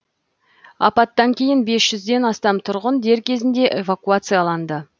апаттан кейін бес жүзден астам тұрғын дер кезінде эвакуацияланды